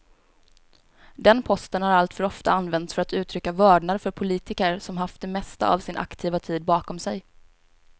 Den posten har alltför ofta använts för att uttrycka vördnad för politiker som haft det mesta av sin aktiva tid bakom sig.